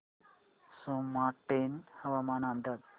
सोमाटणे हवामान अंदाज